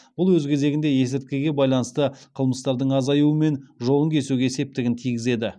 бұл өз кезегінде есірткіге байланысты қылмыстардың азаюы мен жолын кесуге септігін тигізеді